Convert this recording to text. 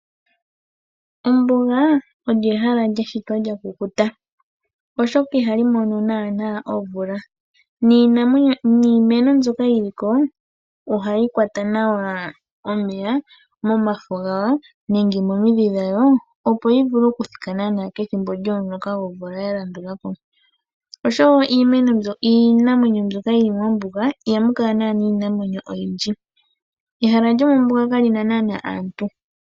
Ombuga olyo ehala lyashitwa lyakukuta oshoka ihali mono naanaa omvula, niimeno mbyoka yili ko ohayi kwata nawa omeya momafo nenge momidhi dhawo opo yivule okuthika kethimbo lyo muloka. Osho wo iinamwenyo mbyoka yili mombuga iha mukala naanaa iinamwenyo oyidji, ehala lyombuga ihali kala naanaa aantu.